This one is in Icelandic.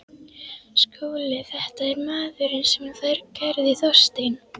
SKÚLI: Þetta er maðurinn sem kærði Þorstein